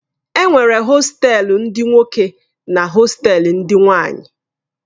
Enwere hostelu ndi nwoke na hostelu ndị nwanyi.